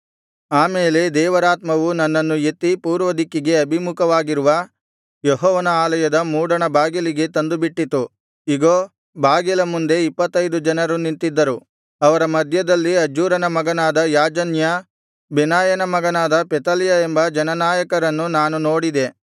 ಆ ಮೇಲೆ ದೇವರಾತ್ಮವು ನನ್ನನ್ನು ಎತ್ತಿ ಪೂರ್ವದಿಕ್ಕಿಗೆ ಅಭಿಮುಖವಾಗಿರುವ ಯೆಹೋವನ ಆಲಯದ ಮೂಡಣ ಬಾಗಿಲಿಗೆ ತಂದುಬಿಟ್ಟಿತು ಇಗೋ ಬಾಗಿಲ ಮುಂದೆ ಇಪ್ಪತ್ತೈದು ಜನರು ನಿಂತಿದ್ದರು ಅವರ ಮಧ್ಯದಲ್ಲಿ ಅಜ್ಜೂರನ ಮಗನಾದ ಯಾಜನ್ಯ ಬೆನಾಯನ ಮಗನಾದ ಪೆಲತ್ಯ ಎಂಬ ಜನನಾಯಕರನ್ನು ನಾನು ನೋಡಿದೆ